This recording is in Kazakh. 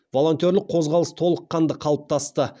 волонтерлік қозғалыс толыққанды қалыптасты